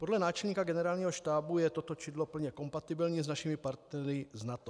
Podle náčelníka Generálního štábu je toto čidlo plně kompatibilní s našimi partnery z NATO.